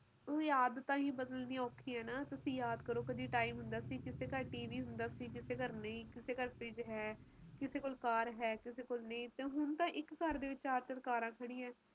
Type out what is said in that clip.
ਦੁਖੀ ਐ ਤੇ ਆਨੇ ਵਾਲਾ ਸਮਾਂ ਕਿ ਹੋਊਗਾ ਇਹ ਚੀਜ਼ ਬਹੁਤ ਬਹੁਤ ਸਮਝਣੀ ਜ਼ਰੂਰੀ ਐ ਸਮਜਲੋ ਆਪ ਉਹ ਪੀੜੀ ਆ ਜਿਹਨੇ ਸਾਰਾ ਕੁਸ਼ ਦੇਖਿਆ ਹੈ